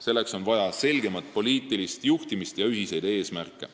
Selleks on vaja selgemat poliitilist juhtimist ja ühiseid eesmärke.